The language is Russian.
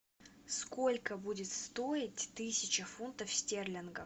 сколько будет стоить тысяча фунтов стерлингов